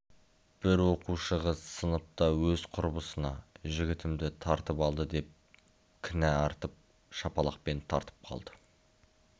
бір оқушы қыз сыныпта өз құрбысына жігітімді тартып алды деген кінә артып шапалақпен тартып қалды